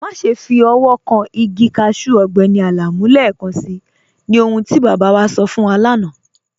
Máṣẹ́ fi ọwọ̀ kàn igi káṣù Ọgbẹ́ni Alamu lẹ́ẹ̀kànṣí, ní ọ̀hun tí baba wa sọ̀ fún wà lána.